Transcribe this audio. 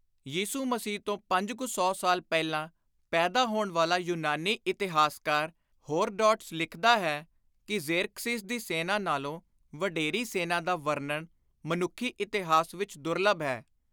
ਯਿਸੁ ਮਸੀਹ ਤੋਂ ਪੰਜ ਕੁ ਸੌ ਸਾਲ ਪਹਿਲਾਂ ਪੈਦਾ ਹੋਣ ਵਾਲਾ ਯੁਨਾਨੀ ਇਤਿਹਾਸਕਾਰ ਹੋਰਡੋਟੱਸ ਲਿਖਦਾ ਹੈ ਕਿ "ਜ਼ੇਰਕਸੀਜ਼ ਦੀ ਸੈਨਾ ਨਾਲੋਂ ਵਡੇਰੀ ਸੈਨਾ ਦਾ ਵਰਣਨ ਮਨੁੱਖੀ ਇਤਿਹਾਸ ਵਿੱਚ ਦੁਰਲੱਭ ਹੈ।